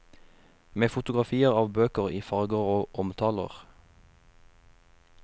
Med fotografier av bøker i farger og omtaler.